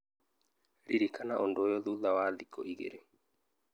Ririkana ũndũ ũyũ thutha wa thikũ igĩrĩ